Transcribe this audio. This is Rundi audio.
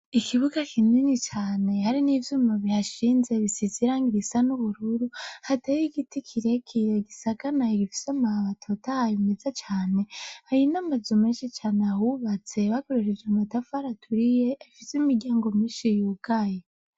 Ikibuga kinini cane hari nivyuma bihashinze bisize irangi risa n'ubururu, hateye igiti kirekire gisagamaye gifise amababi atotahaye meza cane, hari namazu menshi cane ahubatse bakoresheje amatafari aturiye gifise imiryango nyinshi yugaye.